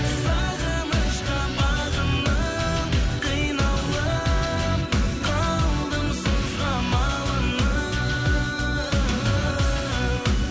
сағынышқа бағынып қиналып қалдым сызға малынып